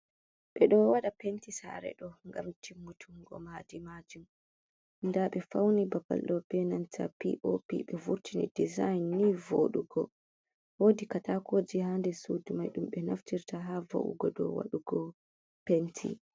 Ɓeɗo waɗa penti sare ɗo ngam timmutungo maadi majum. Nda faune babal ɗo be nanta piopi ɓe vurtini design ni vodugo. Wodi katakoji ha nder sudu mai ɗum ɓe naftirta ha va’ugo dou waɗugo penti.